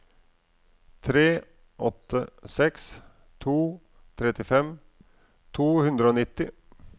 tre åtte seks to trettifem to hundre og nitti